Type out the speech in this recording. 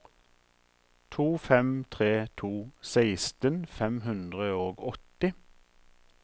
to fem tre to seksten fem hundre og åtti